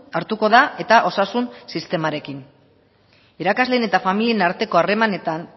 hartuko da eta osasun sistemarekin irakasleen eta familien arteko harremanetan